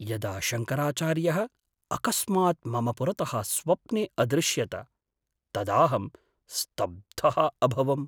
यदा शङ्कराचार्यः अकस्मात् मम पुरतः स्वप्ने अदृश्यत तदाहं स्तब्धः अभवम्।